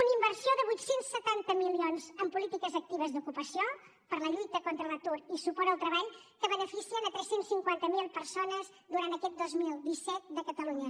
una inversió de vuit cents i setanta milions en polítiques actives d’ocupació per a la lluita contra l’atur i suport al treball que beneficien tres cents i cinquanta miler persones durant aquest dos mil disset de catalunya